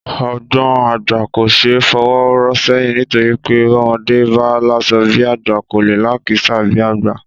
Ọgbọ̀n àgbà kò ṣe é fọwọ́ rọ́ sẹ́yìn nítorí pé bọ́mọdé bá láṣọ bí àgbà, kò lè lákìísà bí àgbà